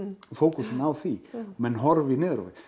fókusinn á því menn horfi niður á við